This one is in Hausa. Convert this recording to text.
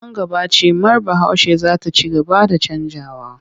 Nan gaba cimar Bahaushe za ta ci gaba da canjawa.